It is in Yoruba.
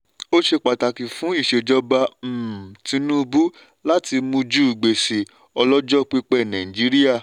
ó ṣe pàtàkì fún ìṣejọba um tinubu láti mújú gbèsè ọlọ́jọ́ pípẹ́ nàìjííríà.